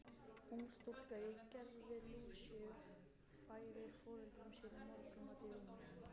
Ung stúlka í gervi Lúsíu færir foreldrum sínum morgunmat í rúmið.